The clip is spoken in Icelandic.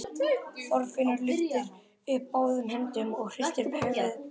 Þorfinnur lyftir upp báðum höndum og hristir höfuðið brosandi.